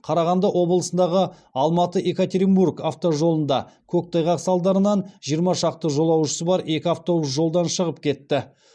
қарағанды облысындағы алматы екатеринбург автожолында көктайғақ салдарынан жиырма шақты жолаушысы бар екі автобус жолдан шығып кетті